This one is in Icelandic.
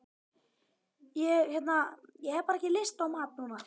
Ég hérna. ég hef bara ekki lyst á mat núna.